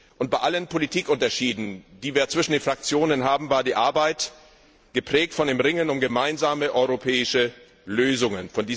Und bei allen Politikunterschieden, die wir zwischen den Fraktionen haben, war die Arbeit geprägt von dem Ringen um gemeinsame europäische Lösungen.